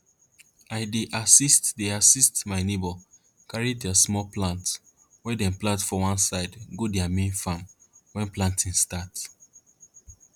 i dey assist dey assist my neighbor carry their small plants wey dem plant for one side go their main farm wen planting start